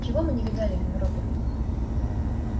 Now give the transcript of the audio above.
чего мы не видали в европе